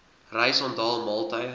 reis onthaal maaltye